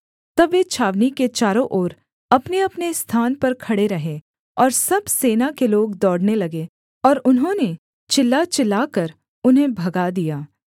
तब वे छावनी के चारों ओर अपनेअपने स्थान पर खड़े रहे और सब सेना के लोग दौड़ने लगे और उन्होंने चिल्ला चिल्लाकर उन्हें भगा दिया